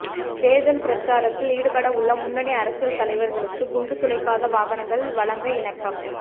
தேர்தல் பிரச்சாரத்தில் ஈடுபடவுள்ள முன்னணி அரசியல் தலைவர்களுக்கு குண்டு துளைக்காத வாகனங்கள் வழங்க இணக்கம்